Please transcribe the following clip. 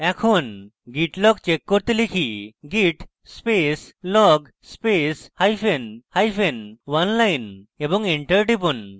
এখন git log check করতে লিখি git space log space hyphen hyphen oneline এবং enter টিপুন